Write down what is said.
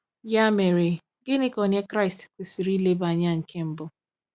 Ya mere, gịnị ka onye Kraịst kwesịrị ilebara anya nke mbụ?